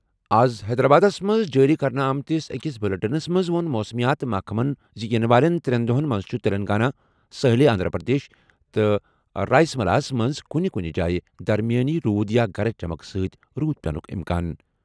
آز حیدرآبادَس منٛز جٲری کرنہٕ آمتِس أکِس بلیٹنَس منٛز ووٚن موسمیات محکمَن زِ یِنہٕ والٮ۪ن ترٛٮ۪ن دۄہَن منٛز چھُ تلنگانہ، ساحلی آندھرا پردیش تہٕ رائلسیما ہَس منٛز کُنہِ کُنہِ جایہِ درمیٲنی روٗد یا گرج چمک سۭتۍ روٗد پیٚنُک اِمکان۔